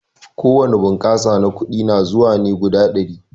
Ko wani bunƙasa na kuɗi na zuwa ne guda ɗari.